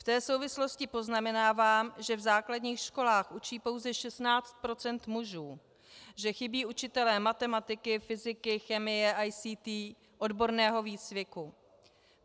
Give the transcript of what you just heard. V té souvislosti poznamenávám, že v základních školách učí pouze 16 % mužů, že chybí učitelé matematiky, fyziky, chemie, ICT, odborného výcviku.